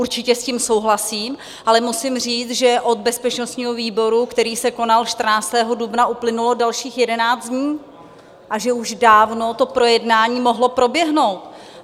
Určitě s tím souhlasím, ale musím říct, že od bezpečnostního výboru, který se konal 14. dubna, uplynulo dalších jedenáct dní a že už dávno to projednání mohlo proběhnout.